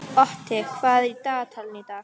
Otti, hvað er í dagatalinu í dag?